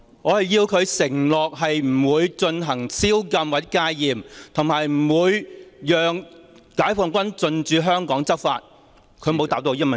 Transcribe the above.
我要他承諾不會實施宵禁或戒嚴，以及不會讓解放軍進駐香港執法，但他沒有回答我這個問題。